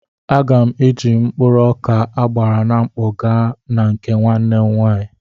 Aga m eji mkpụrụ ọka agbara na mkpọ gaa na nke nwanne m nwaanyị.